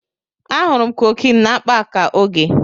Ahụrụ m cocaine na akpa aka Oge.